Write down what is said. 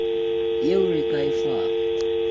yeo re ka e fang